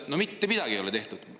No mitte midagi ei ole tehtud!